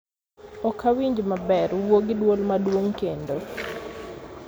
ok awinji maber. Wuo gi dwol maduong' kendo